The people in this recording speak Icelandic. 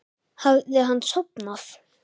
Hafði hann sofnað?